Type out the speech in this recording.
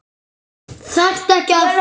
Þarftu ekki að.?